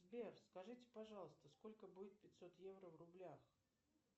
сбер скажите пожалуйста сколько будет пятьсот евро в рублях